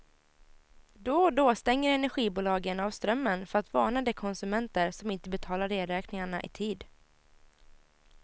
Då och då stänger energibolagen av strömmen för att varna de konsumenter som inte betalar elräkningarna i tid.